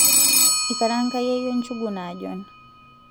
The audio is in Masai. ikaranga yeyio njugu naajon